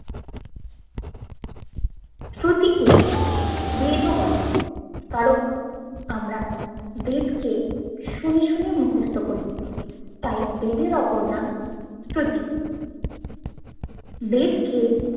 শ্রুতি কে বেদ ও বলে কারণ আমরা বেদ কে শুনে শুনে মুখস্থ কোরি তাই বেদের অপর নাম শ্রুতি বেদকে